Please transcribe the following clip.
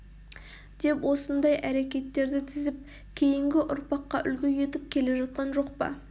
деп осындай әрекеттерді тізіп кейінгі ұрпаққа үлгі етіп келе жатқан жоқ па